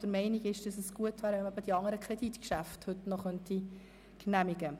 Er ist der Meinung, es wäre von Vorteil, wenn die anderen Kreditgeschäfte noch heute genehmigt würden.